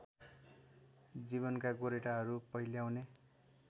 जीवनका गोरेटाहरू पहिल्याउने